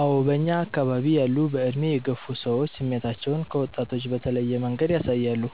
አዎ በእኛ አከባቢ ያሉ በዕድሜ የገፉ ሰዎች ስሜታቸውን ከወጣቶች በተለየ መንገድ ያሳያሉ።